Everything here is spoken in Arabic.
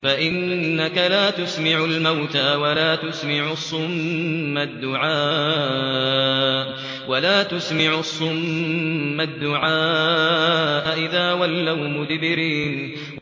فَإِنَّكَ لَا تُسْمِعُ الْمَوْتَىٰ وَلَا تُسْمِعُ الصُّمَّ الدُّعَاءَ إِذَا وَلَّوْا مُدْبِرِينَ